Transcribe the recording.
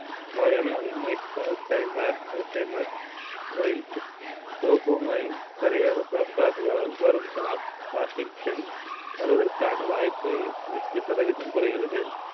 நோயான alzheimer parkinson மூளையில் dopomine சரியாக சுரக்காததால் வரும் parkinson வருவதற்கான வாய்ப்பு நூறு சதவீதம் குறைகிறது.